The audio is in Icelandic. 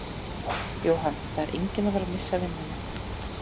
Jóhann: Það er enginn að fara missa vinnuna?